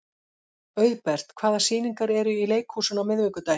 Auðbert, hvaða sýningar eru í leikhúsinu á miðvikudaginn?